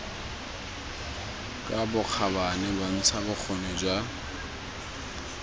ka bokgabane bontsha bokgoni jwa